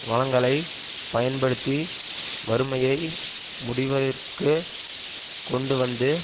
வளங்களை பயன்படுத்தி வறுமையை முடிவதற்குக் கொண்டுவந்து